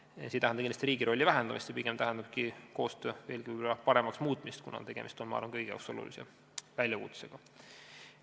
See ei tähenda kindlasti riigi rolli vähendamist, vaid pigem koostöö veelgi paremaks muutmist, kuna tegemist on minu arvates kõigile olulise teemaga.